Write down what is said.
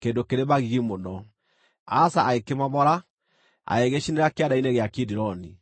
kĩndũ kĩrĩ magigi mũno. Asa agĩkĩmomora, agĩgĩcinĩra kĩanda-inĩ gĩa Kidironi.